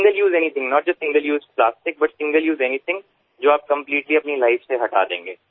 માત્ર single use plastic જ નહીં પરંતુ સિંગલ યુઝવાળી કોઈ પણ ચીજ જે તમે તમારા જીવનમાંથી સંપૂર્ણપણે હટાવી દેશો